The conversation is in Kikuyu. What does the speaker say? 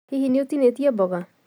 Hihi nĩ ũtinĩtie mboga?